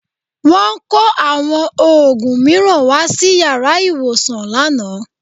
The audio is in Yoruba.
Wọ́n kó àwọn òògùn mìíràn wá sí yàrá ìwòsàn lánàá